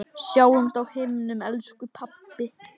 Sjáumst á himnum, elsku pabbi.